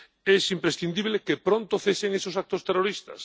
Es imprescindible que pronto cesen esos actos terroristas.